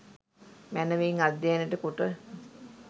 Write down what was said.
මැනවින් අධ්‍යයනයට කොට